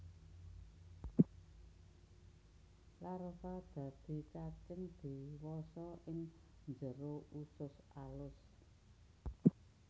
Larva dadi cacing diwasa ing jero usus alus